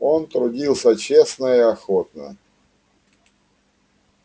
он трудился честно и охотно